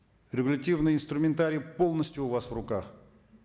регуративный инструментарий полностью у вас в руках